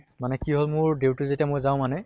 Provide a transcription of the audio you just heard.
মানে কি হʼল মোৰ duty যেতিয়া মই যাওঁ মানে